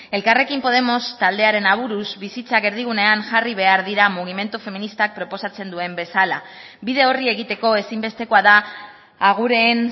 elkarrekin podemos taldearen aburuz bizitzak erdigunean jarri behar dira mugimendu feministak proposatzen duen bezala bide horri egiteko ezinbestekoa da agureen